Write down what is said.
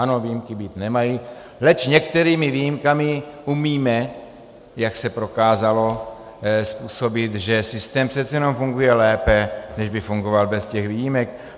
Ano, výjimky být nemají, leč některými výjimkami umíme, jak se prokázalo, způsobit, že systém přece jenom funguje lépe, než by fungoval bez těch výjimek.